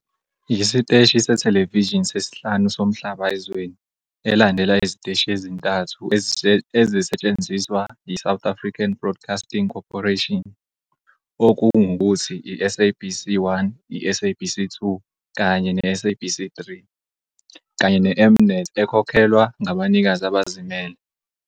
Yisiteshi sethelevishini sesihlanu somhlaba ezweni, elandela iziteshi ezintathu ezisetshenziswa yiSouth African Broadcasting Corporation, okungukuthi i-SABC 1, i-SABC 2 kanye ne-SABC 3, kanye ne-M-Net ekhokhelwa ngabanikazi abazimele.